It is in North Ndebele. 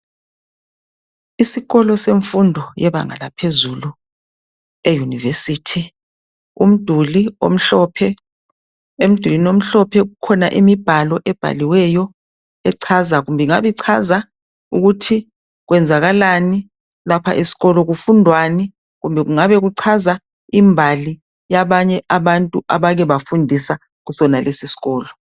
Isikolo senfundo elebanga eliphezulu e university umduli omhlophe emdulwini omhlophe kukhona imibhalo ebhaliweyo echaza ingabe kuchaza ukuthi kwenzakalani lapha eskolo kufundwani kumbe kungabe kuchaza imbali yabanue abantu abakebafundisa kusona lesi iskolo